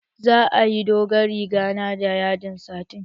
Za a dogon riga na da yadin satin